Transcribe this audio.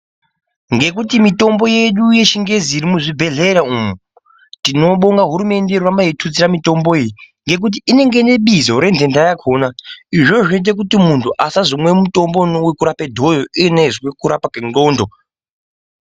Ngekuti mitombo yedu yechingezi irimuzvibhedhlera umu. Tinobonga hurumende yedu irikuramba yeitutsira mitombo iyi. Ngekuti inenge ine bizo renhenda yakona, izvi ndizvo zvinoite kuti muntu asazomwa mutombo ivonavo kurapa dhoyo ivona uiziya kurapa kwendxondo.